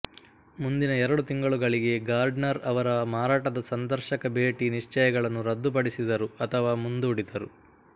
ಮುಂದಿನ ಎರಡು ತಿಂಗಳುಗಳಿಗೆ ಗಾರ್ಡ್ನರ್ ಅವರ ಮಾರಾಟದ ಸಂದರ್ಶಕಭೇಟಿ ನಿಶ್ಚಯಗಳನ್ನು ರದ್ದುಪಡಿಸಿದರು ಅಥವಾ ಮುಂದೂಡಿದರು